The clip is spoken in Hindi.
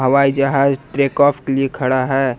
हवाई जहाज टेक ऑफ के लिए खड़ा है।